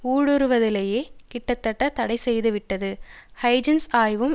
ஊடுருவுதலையே கிட்டத்தட்ட தடை செய்துவிட்டது ஹைஜென்ஸ் ஆய்வும்